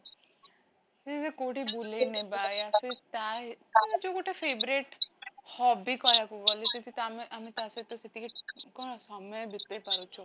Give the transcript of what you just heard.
ସେଇ ଯୋଉ କୋଉଠି ବୁଲେଇ ନବା ତା ଯୋଉ ଗୋଟେ favourite hobby କହିବାକୁ ଗଲେ ସେଠିତ ଆମେ, ଆମେ ତା ସହିତ ସେତିକି କଣ ସମୟ ବିତେଇ ପାରୁଛୁ